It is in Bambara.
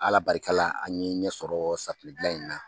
Ala barika la an ɲe ɲɛsɔrɔ safinɛ gilan in na